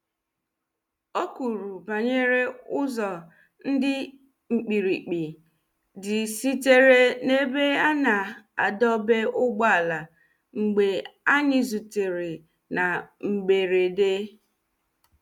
o kwuru banyere ụzo ndi mkpirikpi di sitere na ebe ana adọba ụgbọala mgbe anyi zutere na mgberede.